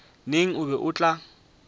neng o be o tla